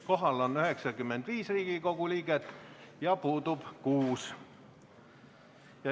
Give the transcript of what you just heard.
Kohal on 95 Riigikogu liiget ja puudub 6.